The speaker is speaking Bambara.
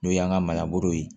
N'o y'an ka manaboro ye